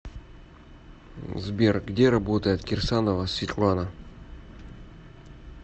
сбер где работает кирсанова светлана